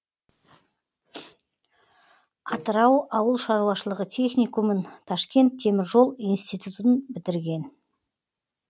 атырау ауыл шаруашылығы техникумын ташкент темір жол институтын бітірген